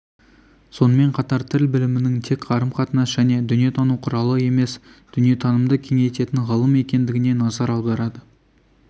сонымен қатар тіл білімінің тек қарым-қатынас және дүние тану құралы емес дүниетанымды кеңейтетін ғылым екендігіне назар аударады